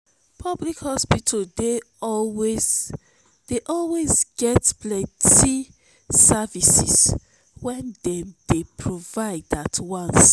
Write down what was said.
public hospital dey always get plenty services wey dem dey provide at once